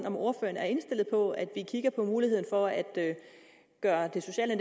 om ordføreren er indstillet på at vi kigger på muligheden for at gøre det sociale